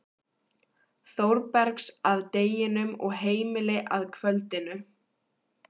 Þórbergs að deginum og heimili að kvöldinu.